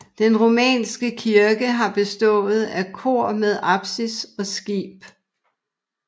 Den romanske kirke har bestået af kor med apsis og skib